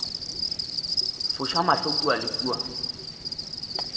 foša mahlo kua le kua